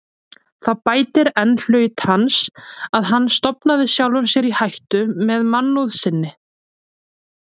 Það bætir enn hlut hans, að hann stofnaði sjálfum sér í hættu með mannúð sinni.